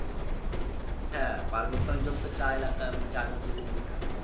হ্যা পার্বত অঞ্চল তো চা এলাকা মানে চা চাষের জন্য বিখ্যাত।